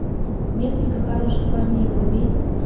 несколько хороших парней вруби